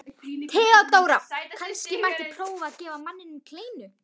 THEODÓRA: Kannski mætti prófa að gefa manninum kleinu?